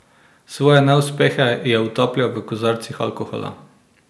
Svoje neuspehe je utapljal v kozarcih alkohola.